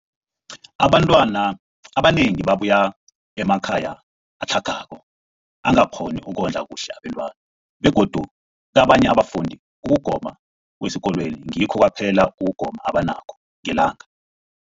Abantwana abanengi babuya emakhaya atlhagako angakghoni ukondla kuhle abentwana, begodu kabanye abafundi, ukugoma kwesikolweni ngikho kwaphela ukugoma abanakho ngelanga.